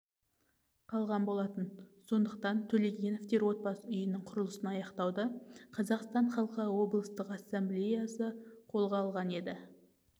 қалған болатын сондықтан төлегеновтер отбасы үйінің құрылысын аяқтауды қазақстан халқы облыстық ассамблеясы қолға алған еді